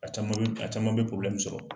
A caman bɛ a caman bɛ sɔrɔ